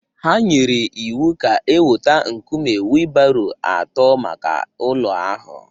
Ha nyere iwu ka e weta nkume wheelbarrow atọ maka ụlọ ahụ